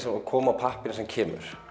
að koma á pappírinn sem kemur